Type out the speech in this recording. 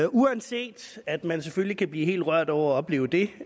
uanset at man selvfølgelig kan blive helt rørt over at opleve det